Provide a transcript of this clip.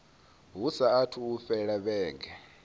hu saathu u fhela vhege